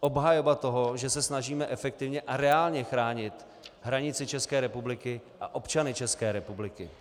obhajoba toho, že se snažíme efektivně a reálně chránit hranici České republiky a občany České republiky.